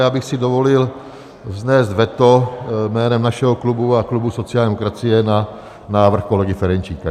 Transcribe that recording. Já bych si dovolil vznést veto jménem našeho klubu a klubu sociální demokracie na návrh kolegy Ferjenčíka.